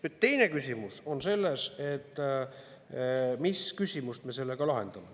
Nüüd, teine küsimus on selles, mis küsimust me sellega lahendame.